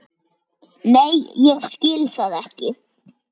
Nei ég skil það ekki.